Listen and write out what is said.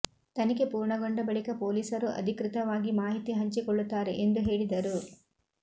ತನಿಖೆ ಪೂರ್ಣಗೊಂಡ ಬಳಿಕ ಪೊಲೀಸರು ಅಧಿಕೃತವಾಗಿ ಮಾಹಿತಿ ಹಂಚಿಕೊಳ್ಳುತ್ತಾರೆ ಎಂದು ಹೇಳಿದರು